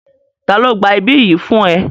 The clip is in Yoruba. Ta ló gba ibí yìí fún ẹ?